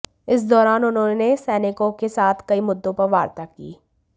इस दौरान उन्होंने सैनिकों के साथ कई मुद्दो पर वार्ता की